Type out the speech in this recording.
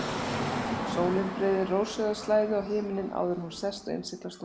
Sólin breiðir rósrauða slæðu á himininn áður en hún sest og innsiglar stundina.